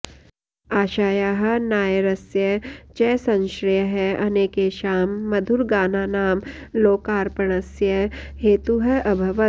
आषायाः नायरस्य च संश्रयः अनेकेषां मधुरगानानां लोकार्पणस्य हेतुः अभवत्